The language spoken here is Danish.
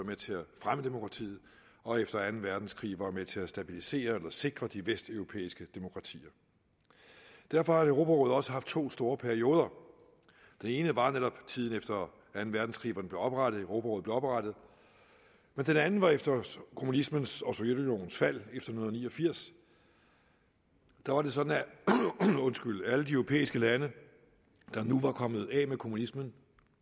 med til at fremme demokratiet og efter anden verdenskrig var med til at stabilisere eller sikre de vesteuropæiske demokratier derfor har europarådet også haft to store perioder den ene var netop tiden efter anden verdenskrig hvor europarådet blev oprettet og den anden var efter kommunismens og sovjetunionens fald efter nitten ni og firs da var det sådan at alle de europæiske lande der nu var kommet af med kommunismen